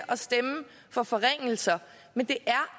stemme for forringelser men det